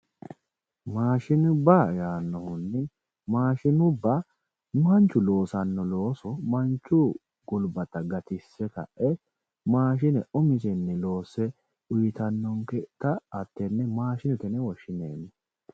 Maashinubba yaanohunni, maashinubba manchu loosano looso mannu gulbatta gatise kae maashine umisenni loosse uyittanonketta maashinete yineemmo.